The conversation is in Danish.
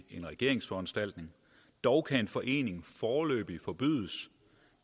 en regeringsforanstaltning dog kan en forening foreløbig forbydes